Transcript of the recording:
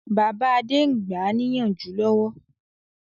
Bàbá Adé ń gbáà níyànjú lọ́wọ́